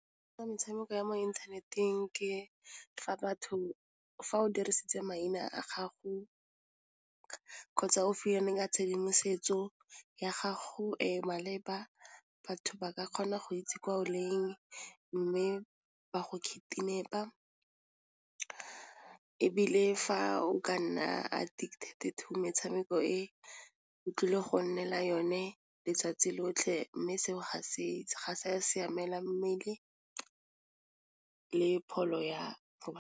Metshameko ya mo inthaneteng ke fa batho fa o dirisitse maina a gago kgotsa o ka tshedimosetso ya gago e maleba, batho ba ka kgona go itse kwa o leng mme ba go a ka ebile fa o ka nna a addicted to metshameko e, o tlile go nnela yone letsatsi lotlhe mme seo ga se ya siamela mmele ka pholo ya go .